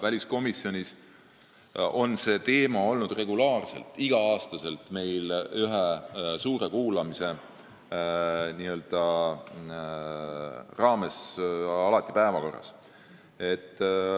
Väliskomisjonis on see teema olnud igal aastal ühe suure kuulamise raames regulaarselt päevakorras.